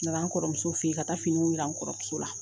N nana n kɔrɔmuso fe yen ka taa finiw yira n kɔrɔmuso la